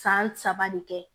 San saba de kɛ